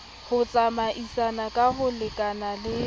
ho tsamaisana ka ho lekanale